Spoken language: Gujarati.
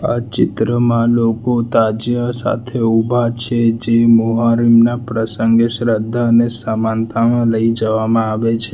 આ ચિત્રમાં લોકો તાજીયા સાથે ઉભા છે જે મોહરમના પ્રસંગે શ્રદ્ધા અને સમાનતામાં લઈ જવામાં આવે છે.